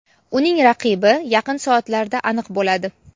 uning raqibi yaqin soatlarda aniq bo‘ladi.